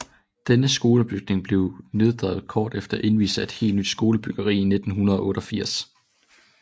Denne skolebygning blev nedrevet kort efter indvielsen af et helt nyt skolebyggeri i 1988